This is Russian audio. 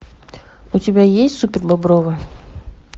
у тебя есть супербобровы